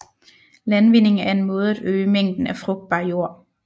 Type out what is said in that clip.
Landvinding er en måde at øge mængden af frugtbar jord